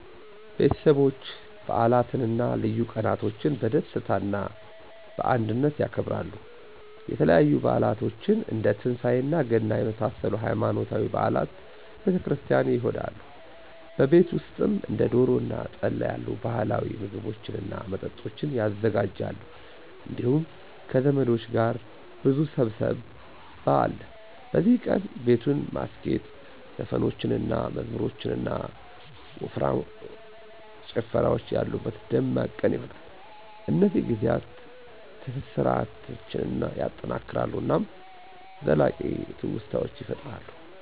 ቤተሰቦች በዓላትን እና ልዩ ቀናቶችን በደስታ እና በአንድነት ያከብራሉ። የተለያዩ በዓላቶችን እንደ ትንሳኤ እና ገና በመሳሰሉት ሃይማኖታዊ በዓላት ቤተ ክርስቲያን ይሆዳሉ። በቤት ውሰጥም እንደ ዶሮ እና ጠላ ያሉ ባህላዊ ምግቦችን እና መጠጦች ይዘጋጃሉ እንዲሁም ከዘመዶች ጋር ብዙ ሰብሰብ አለ። በዚህ ቀን, ቤቱን ማስጌጥ, ዘፈኖችን እና መዝሙሮች እና ጨፍራወች ያሉበት ደማቅ ቀን ይሆነል። እነዚህ ጊዜያት ትስሰራን ያጠናክራሉ እናም ዘላቂ ትውስታዎችን ይፈጥራሉ።